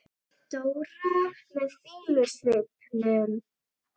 Dóra með fýlusvipnum.